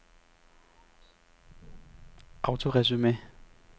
autoresume